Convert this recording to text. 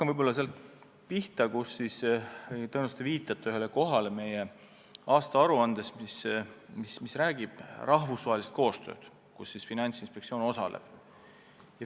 Ma hakkan sellest pihta, et tõenäoliselt te viitate ühele kohale meie aastaaruandes, mis räägib rahvusvahelisest koostööst, kus Finantsinspektsioon osaleb.